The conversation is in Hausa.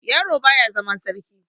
Yaro baya zama sarki.